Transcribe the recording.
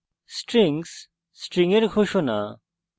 strings string এর ঘোষণা